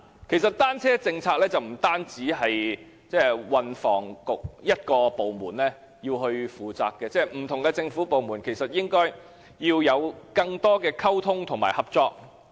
其實，單車政策不單由運輸及房屋局一個政策局負責，不同的政府部門其實應該要有更多溝通和合作。